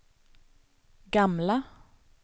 gamla